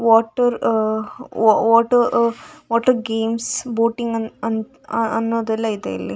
Water ಆ ವಾ ವಾಟ ಆ ವಾಟರ್‌ ಗೇಮ್ಸ್ ಬೋಟಿಂಗ್‌ ಅನ್ ಅನ್ ಅನ್ನೋದೆಲ್ಲ ಇದೆ ಇಲ್ಲಿ.